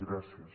gràcies